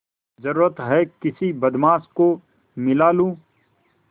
जरुरत हैं किसी बदमाश को मिला लूँ